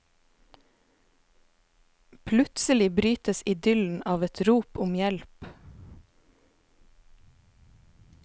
Plutselig brytes idyllen av et rop om hjelp.